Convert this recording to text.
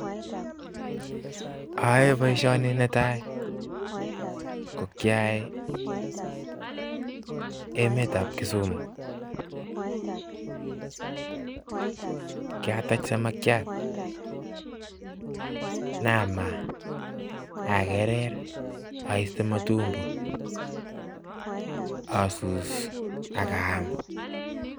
Oyoe boishoni netaa ko kiayae emetab Kisumu, kiatach samakiat inyanam akerer oiste matumbo asus akaam.